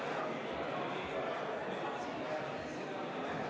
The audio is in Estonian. Kas protseduuriline küsimus?